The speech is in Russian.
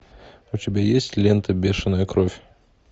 у тебя есть лента бешеная кровь